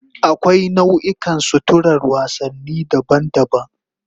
Akwai nau'ikan suturar wasanni daban-daban